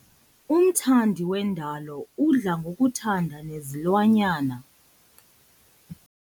Umthandi wendalo udla ngokuthanda nezilwanyana.